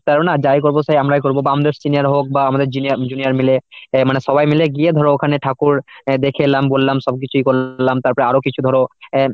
পারবে না যাই করব সে আমরাই করবো বা আমাদের senior রা হোক বা আমাদের junior junior মিলে এই মানে সবাই মিলে গিয়ে ধরো ওখানে ঠাকুর দেখে এলাম বললাম সবকিছুই করলাম। তারপরে আরো কিছু ধরো অ্যাঁ